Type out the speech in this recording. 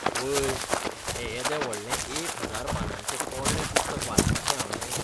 आवय, हें येदें व्हडलें एक हजार पानांचें पोरणें पुस्तक वाचपाचें हावें!